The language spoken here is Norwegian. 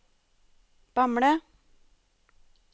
Bamble